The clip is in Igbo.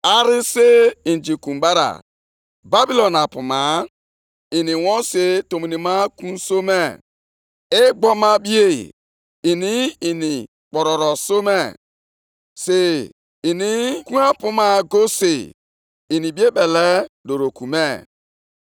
Onye iro nke ajọ omume juru obi, na-eji nko ya na-egbu ha. Ọ na-ejikwa nko ụgbụ ya na-ejide ha. Ọ na-achịkọta ha nʼụgbụ ya, si otu a na-aṅụrị ọṅụ, ma na-etegharịkwa egwu ọṅụ.